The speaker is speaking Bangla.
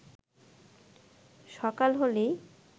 সকাল হলেই